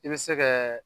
I bɛ se kɛ